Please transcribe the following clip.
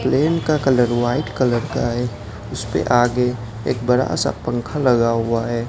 Plane का colour white colour का है उसपे आगे एक बड़ा सा पंखा लगा हुआ है।